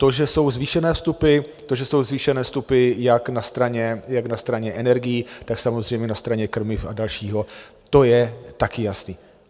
To, že jsou zvýšené vstupy, to že jsou zvýšené vstupy jak na straně energií, tak samozřejmě na straně krmiv a dalšího, to je také jasné.